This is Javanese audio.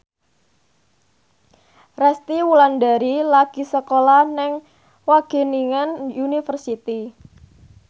Resty Wulandari lagi sekolah nang Wageningen University